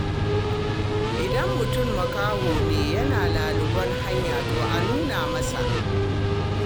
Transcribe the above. Idan mutum makaho ne yana laluben hanya, to a nuna masa.